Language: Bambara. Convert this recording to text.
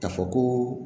Ka fɔ koo